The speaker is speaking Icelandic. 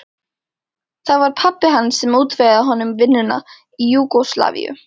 Það var pabbi hans sem útvegaði honum vinnuna í Júgóslavíu.